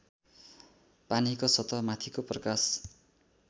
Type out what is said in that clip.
पानीको सतहमाथिको प्रकाश